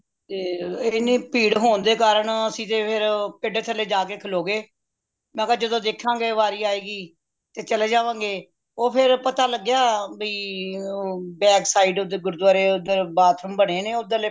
ਤੇ ਏਨੀ ਭੀੜ ਹੋਣ ਦੇ ਕਾਰਨ ਅੱਸੀਂ ਤੇ ਫੇਰ ਪੇਡੇ ਥੱਲੇ ਜਾ ਕ ਖਲੋ ਗਏ ਮਈ ਕਿਆ ਜਦੋ ਦੇਖ ਗਏ ਵਾਰੀ ਆਏਗੀ ਤੇ ਚਲੇ ਜਾਵਾਂ ਗਏ ਉਹ ਫੇਰ ਪਤਾ ਲਗਿਆ ਬਾਯੀ ਉਹ BACKSIDE ਉਹ ਗੁਰੂਦੁਆਰੇ ਜਿਥੇ bathroom ਬਨੇਨੇ ਓਧਰਲੇ